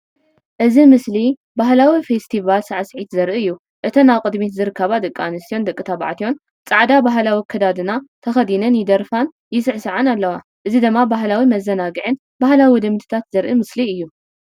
እዚ ምስሊ ባህላዊ ፈስቲቫል ሳዕስዒት ዘርኢ እዩ። እተን ኣብ ቅድሚት ዝርከባ ደቂ ኣንስትዮን ደቂ ተባዕትዮን ጻዕዳ ባህላዊ ኣከዳድና ተኸዲነን ይደርፋን ይስዕስዓን ኣለዋ። እዚ ድማ ባህላዊ መዘናግዕን ባህላዊ ልምድታትን ዘርኢ ምስሊ እዩ።